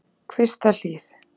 Kvistahlíð